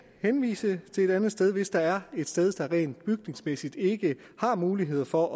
henvise til et andet sted hvis der er et sted der rent bygningsmæssigt ikke har mulighed for